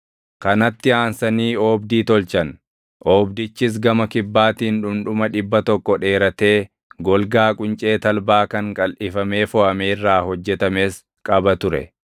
Kanatti aansanii oobdii tolchan. Oobdichis gama kibbaatiin dhundhuma dhibba tokko dheeratee golgaa quncee talbaa kan qalʼifamee foʼame irraa hojjetames qaba ture;